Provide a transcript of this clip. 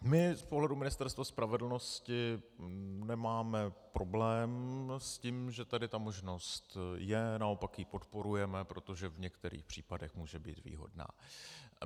My z pohledu Ministerstva spravedlnosti nemáme problém s tím, že tady ta možnost je, naopak ji podporujeme, protože v některých případech může být výhodná.